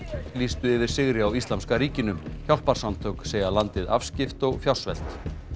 lýstu yfir sigri á Íslamska ríkinu hjálparsamtök segja landið afskipt og fjársvelt